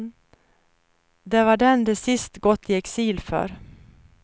Det var den de till sist gått i exil för.